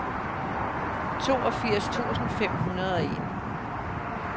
toogfirs tusind fem hundrede og en